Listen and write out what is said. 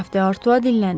Qraf de Artua dinləndi.